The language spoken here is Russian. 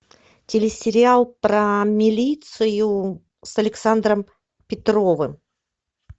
телесериал про милицию с александром петровым